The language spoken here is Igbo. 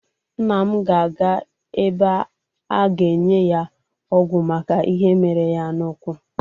Nna m ga-aga ebe a ga-enye ya ọgwụ maka ihe mere ya n'ụ́kwụ́.